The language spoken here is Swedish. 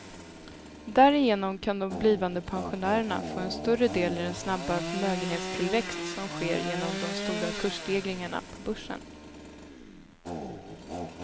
Därigenom kan de blivande pensionärerna få en större del i den snabba förmögenhetstillväxt som sker genom de stora kursstegringarna på börsen.